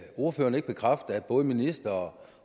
ordføreren ikke bekræfte at både ministeren